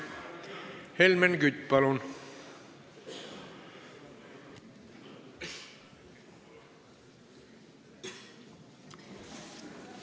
Helmen Kütt, palun!